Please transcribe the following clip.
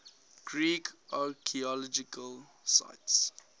greek archaeological sites